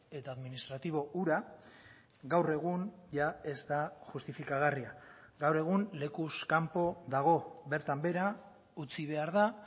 eta administratibo hura gaur egun jada ez da justifikagarria gaur egun lekuz kanpo dago bertan behera utzi behar da